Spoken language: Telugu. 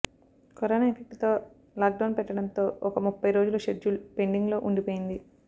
కరోనా ఎఫెక్ట్ తో లాక్ డౌన్ పెట్టడంతో ఒక ముప్పై రోజుల షెడ్యూల్ పెండింగ్ లో ఉండిపోయింది